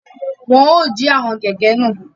Wọn o ji àwọn kẹkẹ náà